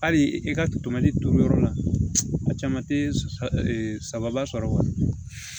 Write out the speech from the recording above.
Hali i ka totɛmali turu yɔrɔ la a caman te saba sɔrɔ